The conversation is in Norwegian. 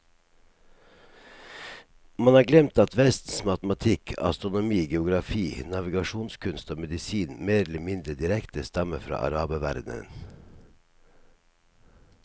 Man har glemt at vestens matematikk, astronomi, geografi, navigasjonskunst og medisin mer eller mindre direkte stammer fra araberverdenen.